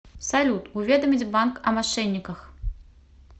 салют уведомить банк о мошенниках